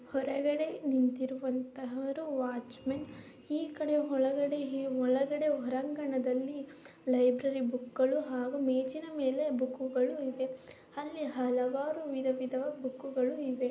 ಹೊರಗಡೆ ನಿಂತಿರುವಂತಹರು watchman ಈ ಕಡೆ ಹೊಲಗಡೆ ಹೊಳಗಡೆ ಹೊರಾಂಗಣದಲ್ಲಿ ಲೈಬ್ರರಿ ಬುಕ್ ಗಳು ಹಾಗು ಮೇಜಿನ ಮೇಲೆ ಬುಕ್ ಗಳು ಇವೆ ಅಲ್ಲಿ ಹಲವಾರು ವಿಧ ವಿಧವಾದ ಬುಕ್ ಗಳು ಇವೆ.